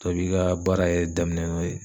Dɔ i b'i ka baara yɛrɛ daminɛ n'o ye